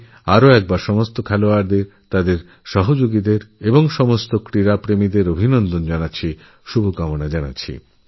আমি পুনরায় সমস্তখেলোয়ার তাঁদের সহযোগীদের এবং সমস্ত ক্রীড়াপ্রেমী সাধারণকে আমার অভিনন্দন ওশুভেচ্ছা জানাই